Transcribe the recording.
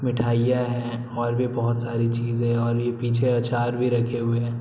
मिठाइयां हैं और भी बहोत सारी चीज़ें हैं और ये पीछे अचार भी रखे हुए हैं।